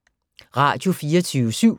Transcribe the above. Radio24syv